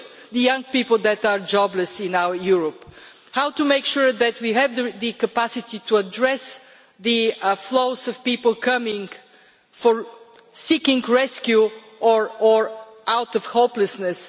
the young people who are jobless in Europe how to make sure that we have the capacity to address the flows of people coming, seeking rescue or out of hopelessness